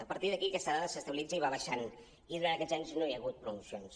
a partir d’aquí aquesta dada s’estabilitza i va baixant i durant aquests anys no hi ha hagut promocions